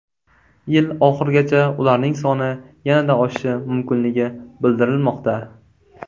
Yil oxirigacha ularning soni yanada oshishi mumkinligi bildirilmoqda.